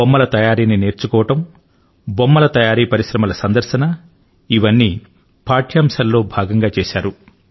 బొమ్మల తయారీని నేర్చుకోవడం బొమ్మల తయారీ పరిశ్రమల సందర్శన ఇవన్నింటిని బోధన ప్రణాళిక లో భాగంగా చేశారు